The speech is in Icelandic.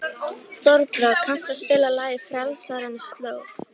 Þorbrá, kanntu að spila lagið „Frelsarans slóð“?